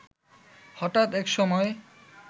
হঠাৎ একসময়